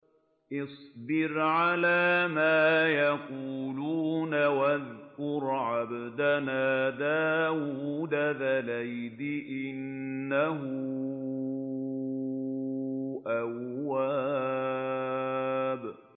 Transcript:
اصْبِرْ عَلَىٰ مَا يَقُولُونَ وَاذْكُرْ عَبْدَنَا دَاوُودَ ذَا الْأَيْدِ ۖ إِنَّهُ أَوَّابٌ